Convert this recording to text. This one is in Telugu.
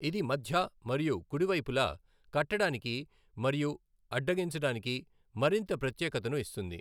ఇది మధ్య మరియు కుడి వైపులా కట్టడానికి మరియు అడ్డగించడానికి మరింత ప్రత్యేకతను ఇస్తుంది.